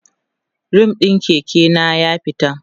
rim ɗin Keke na ya fita